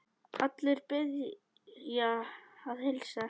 Allir biðja að heilsa.